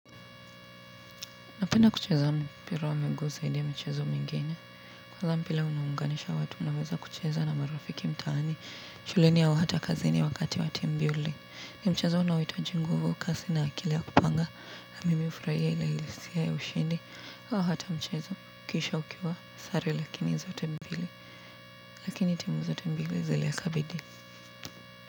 Napenda kucheza mpira wa miguu zaidi ya michezo mingine. Kwanza mpira unaunganisha watu, naweza kucheza na marafiki mtaani, shuleni au hata kazini. Wakati wa timu mbili ni mchezo unaohitaji nguvu, kasi na akili ya kupanga na mimi hufurahia ile hisia ya ushindi au hata mchezo, kisha ukivaa sare lakini zote mbili lakini timu zote mbili zile kabidi.